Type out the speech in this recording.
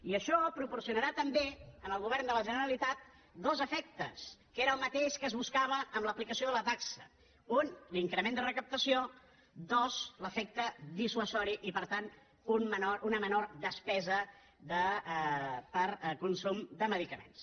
i això proporcionarà també en el govern de la generalitat dos efectes que era el mateix que es buscava amb l’aplicació de la taxa un l’increment de recaptació dos l’efecte dissuasiu i per tant una menor despesa per consum de medicaments